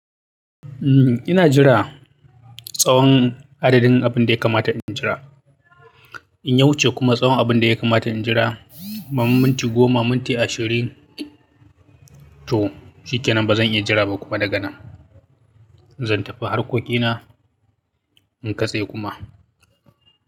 Eh ina jira, tsawon adadin abin da ya kamata in jira. In ya wuce kuma tsawon abin da ya kamata in jira, ba minti goma, minti ashirin to shike nan ba zan iya jira ba kuma daga nan zan tafi harkokina inkatse kuma.